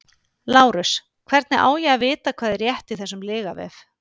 LÁRUS: Hvernig á ég að vita hvað er rétt í þessum lygavef?